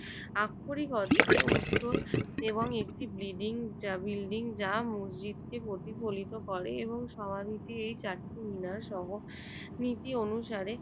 আক্ষরিক অর্থে উত্তর এবং একটি ব্লিডিং যা~ বিল্ডিং যা মসজিদকে প্রতিফলিত করে এবং সমাধিটি এর চারটি মিনারসহ নীতি অনুসারে